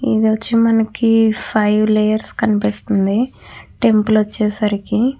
ఇది వచ్చి మనకి ఫైవ్ లేయర్స్ కనిపిస్తున్నాయి. టెంపుల్ వచ్చేసరికి --